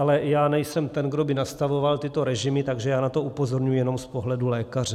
Ale já nejsem ten, kdo by nastavoval tyto režimy, takže já na to upozorňuji jenom z pohledu lékaře.